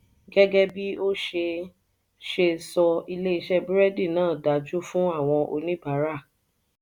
gẹgẹ bí o ṣe o ṣe sọ ilé iṣé burẹdi náà dáa jù fún àwọn oníbàárà.